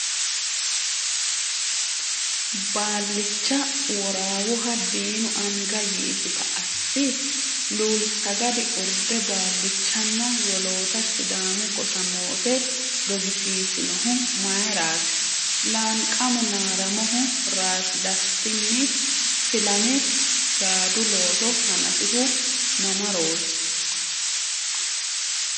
Baallicha Worawoha diinu anga yiisita assi? Luulsaggadi urde baallichanna woloota Sidaamu gosa moote dogisiissinohu mayraati? Laanqamo Naaramohu ‘Rasi Dastinni’ filame gaadu looso hanafihu mamarooti?